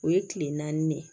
O ye kile naani de ye